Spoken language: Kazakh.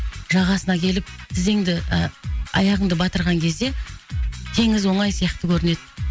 жағасына келіп тізеңді ы аяғыңды батырған кезде теңіз оңай сияқты көрінеді